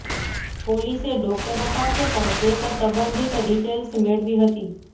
પોલીસે ડોક્ટરો પાસે પણ કેસ સંબંધિત ડિટેઇલ્સ મેળવી હતી